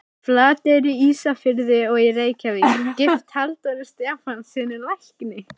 Flateyri, Ísafirði og í Reykjavík, gift Halldóri Stefánssyni lækni.